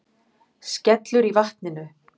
Skellur í vatninu.